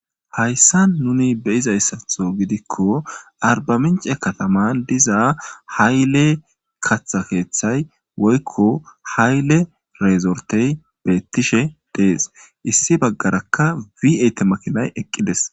Hayssa nuni beyizayssatho gidikko arbamince kataman dizaa hayle katha keeththay woykko hayle reezortey beettishe dees issi baggarakka wiayte makinay eqqides.